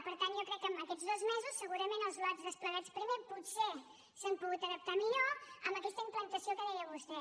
per tant jo crec que en aquests dos mesos segurament els lots desplegats primer potser s’han pogut adaptar millor amb aquesta implantació que deia vostè